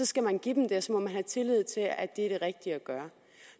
skal man give dem det og så må man have tillid til at det er det rigtige at gøre